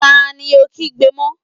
Ta ni ò ń kígbe mọ́?